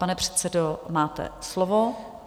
Pane předsedo, máte slovo.